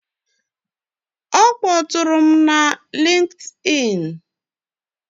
Ọ kpọtụụrụ m na LinkedIn.